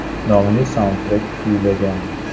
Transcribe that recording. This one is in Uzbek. nomli saundtrek kuylagan.